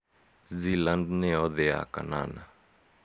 Zealand nĩ yo thĩ ya kanana